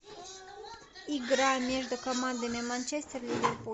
игра между командами манчестер ливерпуль